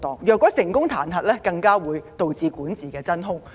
如果成功彈劾，更會導致管治真空。